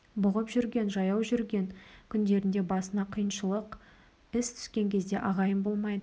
бұғып жүрген жаяу жүрген күндерінде басына қиыншылық іс түскен кезде ағайын болмайды